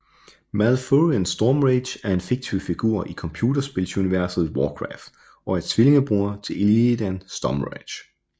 Malfurion Stormrage er en fiktiv figur i computerspils universet Warcraft og er tvillingebror til Illidan Stormrage